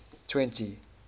twenty